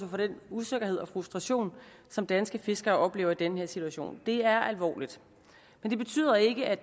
for den usikkerhed og frustration som danske fiskere oplever i den her situation det er alvorligt men det betyder ikke at